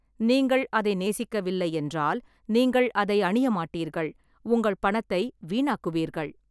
நீங்கள் அதை நேசிக்கவில்லை என்றால், நீங்கள் அதை அணிய மாட்டீர்கள், உங்கள் பணத்தை வீணாக்குவீர்கள்.